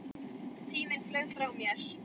Tíminn flaug frá mér.